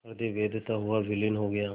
हृदय वेधता हुआ विलीन हो गया